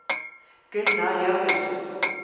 Gunnar Jørgensen